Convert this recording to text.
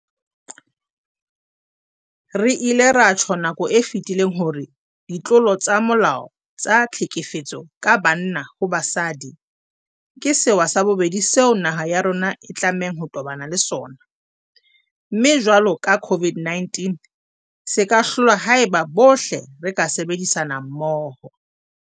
Re ile ra tjho nakong e fetileng hore ditlolo tsa molao tsa tlhekefetso ka banna ho basadi ke sewa sa bobedi seo naha ya rona e tlamehang ho tobana le sona, mme jwalo ka COVID-19 se ka hlolwa haeba bohle re ka sebedisana mmoho.